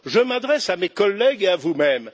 Je m'adresse à mes collègues et à vous même.